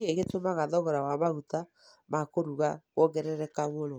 nĩkĩĩ gĩtũmaga thogora wa maguta ma kũruga kuongerereka mũno